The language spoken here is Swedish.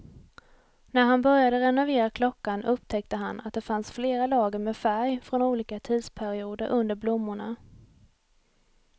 När han började renovera klockan upptäckte han att det fanns flera lager med färg från olika tidsperioder under blommorna.